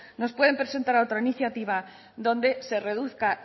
nos pueden presentar otra iniciativa donde se reduzca